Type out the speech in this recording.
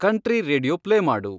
country radio play ಮಾಡು